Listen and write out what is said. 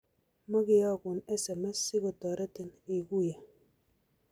Makeokun SMS si kotoretin iguiye